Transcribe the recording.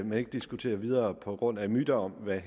man ikke diskuterer videre på grund af myter om hvad